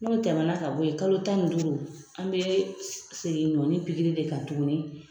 N'o tɛmɛna ka bɔ yen, kalo tan ni duuru , an bɛ segin ɲɔni pikiri de kan tuguni.